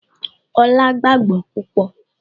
Olá gbàágbọ́ púpọ̀